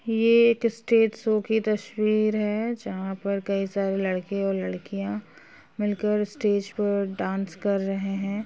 ये एक stage show की तस्वीर है जहाँ पर कई सारे लड़के और लड़कियां मिलकर स्टेज पर डांस कर रहे हैं।